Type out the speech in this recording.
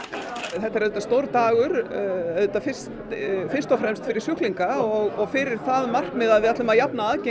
þetta er auðvitað stór dagur auðvitað fyrst fyrst og fremst fyrir sjúklinga og fyrir það markmið að við ætlum að jafna aðgengi